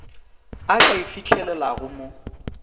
a ka e fihlelelago mo